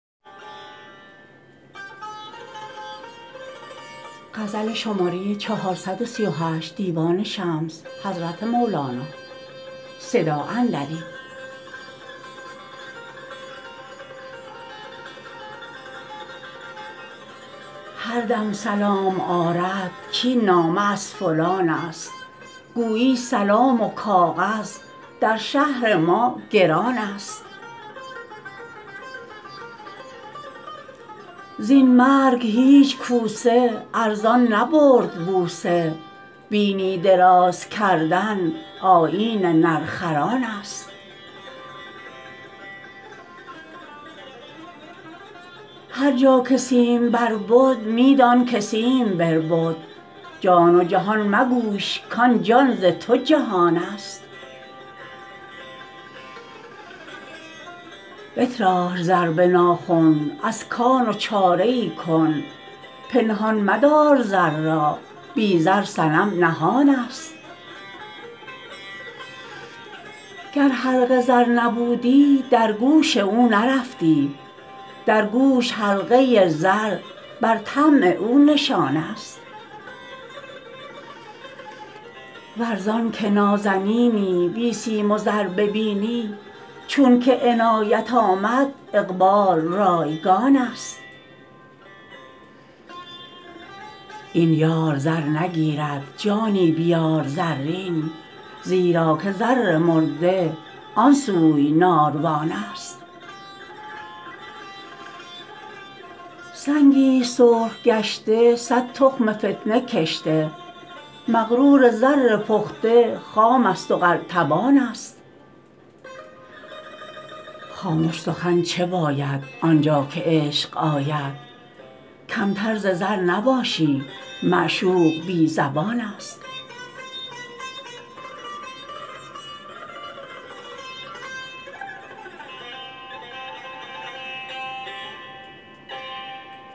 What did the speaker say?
هر دم سلام آرد کاین نامه از فلان ست گویی سلام و کاغذ در شهر ما گران ست زین مرگ هیچ کوسه ارزان نبرد بوسه بینی دراز کردن آیین نرخران ست هر جا که سیمبر بد می دانک سیم بربد جان و جهان مگویش کان جان ز تو جهان ست بتراش زر به ناخن از کان و چاره ای کن پنهان مدار زر را بی زر صنم نهان ست گر حلقه زر نبودی در گوش او نرفتی در گوش حلقه زر بر طمع او نشان ست ور زانک نازنینی بی سیم و زر ببینی چونک عنایت آمد اقبال رایگان ست این یار زر نگیرد جانی بیار زرین زیرا که زر مرده آن سوی ناروان ست سنگی ست سرخ گشته صد تخم فتنه کشته مغرور زر پخته خام است و قلتبان ست خامش سخن چه باید آن جا که عشق آید کمتر ز زر نباشی معشوق بی زبان ست